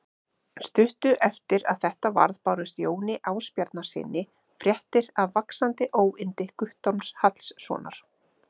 Stuttu eftir að þetta varð bárust Jóni Ásbjarnarsyni fréttir af vaxandi óyndi Guttorms Hallssonar.